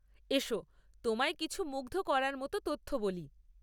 এসো তোমায় কিছু মুগ্ধ করার মতো তথ্য বলি।